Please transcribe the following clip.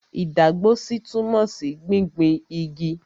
Ìdágbósí túmọ̀ sí gbingbin igi.